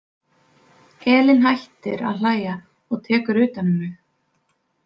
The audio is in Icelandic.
Elín hættir að hlæja og tekur utan um mig.